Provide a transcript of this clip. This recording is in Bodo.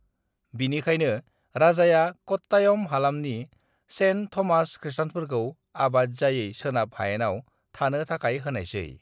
"बिनिखायनो, राजाया कट्टायम हालामनि सेन्ट थमास खृष्टानफोरखौ आबाद जायै सोनाब हायेनआव थानो थाखाय होनायसै।"